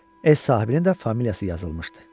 Ev sahibinin də familiyası yazılmışdı.